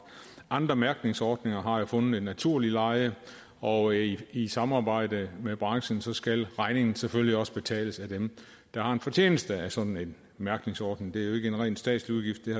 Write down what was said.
andre mærkningsordninger har jo fundet et naturligt leje og i i samarbejde med branchen skal regningen selvfølgelig også betales af dem der har en fortjeneste af sådan en mærkningsordning det er ikke en ren statslig udgift og